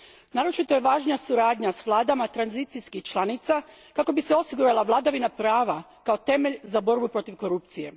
Naročito je važna suradnja s vladama tranzicijskih članica kako bi se osigurala vladavina prava kao temelj za borbu protiv korupcije.